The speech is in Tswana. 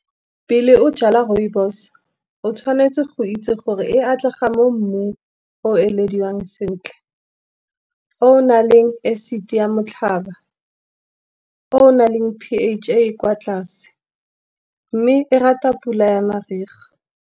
Pele o jala rooibos o tshwanetse go itse gore e atlega mo mmung o o elediwang sentle. O o na le acid ya motlhaba, o naleng P_H e e kwa tlase, mme e rata pula ya mariga.